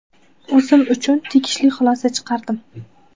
O‘zim uchun tegishli xulosa chiqardim.